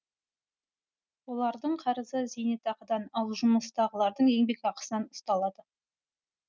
олардың қарызы зейнетақыдан ал жұмыстағылардың еңбекақысынан ұсталады